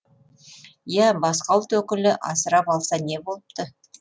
иа басқа ұлт өкілі асырап алса не болыпты